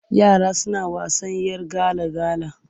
Yara suna wasan 'yar gala-gala.